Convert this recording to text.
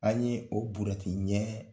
An ye o burɛti ɲɛ